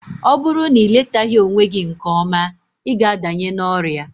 Ọ bụrụ na iletaghi onwe gị nke ọma, ịga adanye n'ọrịa